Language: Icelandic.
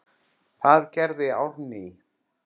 Það gerði Árný.